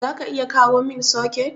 zaka iya kawomin soket?